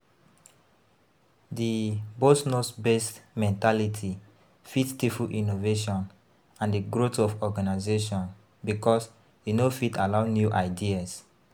di 'boss knows best' mentality fit stifle innovation and di growth of organization because e no fit allow new ideas.